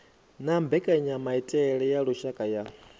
na mbekanyamaitele ya lushaka ya